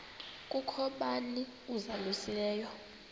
kukho bani uzalusileyo